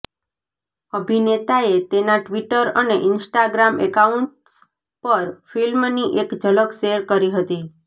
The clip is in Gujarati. અભિનેતાએ તેના ટ્વીટર અને ઇન્સ્ટાગ્રામ એકાઉન્ટ્સ પર ફિલ્મની એક ઝલક શેર કરી હતી